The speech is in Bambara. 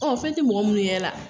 Ɔ fɛn tɛ mɔgɔ mun yɛrɛ la